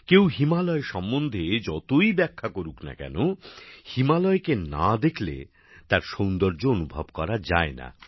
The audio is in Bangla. কেউ হিমালয় সম্বন্ধে যতই ব্যাখ্যা করুক না কেন হিমালয়কে না দেখলে তার সৌন্দর্য অনুভব করা যায় না